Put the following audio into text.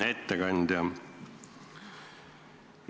Hea ettekandja!